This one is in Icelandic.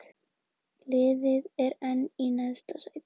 Liðið enn í neðsta sæti